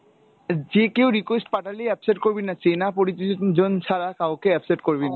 যে কেউ request পাঠালেই accept করবিনা, চেনা পরিচিত জন ছাড়া কাউকে accept করবিনা।